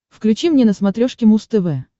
включи мне на смотрешке муз тв